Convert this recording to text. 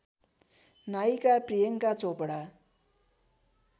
नायिका प्रियङ्का चोपडा